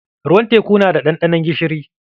Ruwan teku na da ɗanɗanon gishiri.